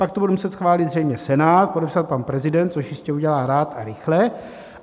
Pak to bude muset schválit zřejmě Senát, podepsat pan prezident, což jistě udělá rád a rychle.